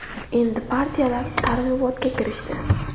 Endi partiyalar targ‘ibotga kirishdi.